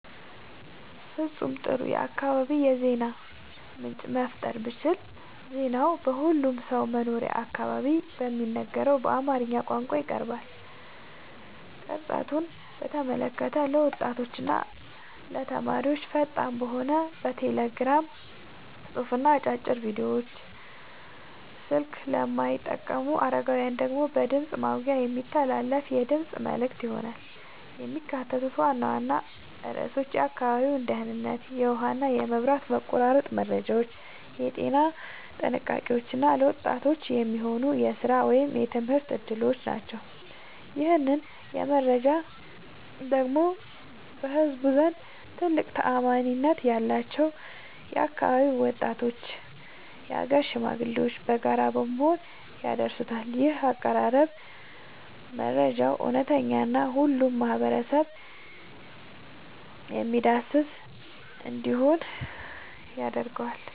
ፍጹም ጥሩ የአካባቢ የዜና ምንጭ መፍጠር ብችል ዜናው በሁሉም ሰው መኖሪያ አካባቢ በሚነገረው በአማርኛ ቋንቋ ይቀርባል። ቅርጸቱን በተመለከተ ለወጣቶችና ተማሪዎች ፈጣን በሆነ የቴሌግራም ጽሑፍና አጫጭር ቪዲዮዎች፣ ስልክ ለማይጠቀሙ አረጋውያን ደግሞ በድምፅ ማጉያ የሚተላለፉ የድምፅ መልዕክቶች ይሆናሉ። የሚካተቱት ዋና ዋና ርዕሶች የአካባቢው ደህንነት፣ የውሃና መብራት መቆራረጥ መረጃዎች፣ የጤና ጥንቃቄዎች እና ለወጣቶች የሚሆኑ የሥራ ወይም የትምህርት ዕድሎች ናቸው። ይህንን መረጃ ደግሞ በህዝቡ ዘንድ ትልቅ ተአማኒነት ያላቸው የአካባቢው ወጣቶችና የአገር ሽማግሌዎች በጋራ በመሆን ያደርሱታል። ይህ አቀራረብ መረጃው እውነተኛና ሁሉንም ማህበረሰብ የሚያዳርስ እንዲሆን ያደርገዋል።